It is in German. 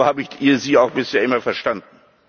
wird. So habe ich Sie auch bisher immer verstanden.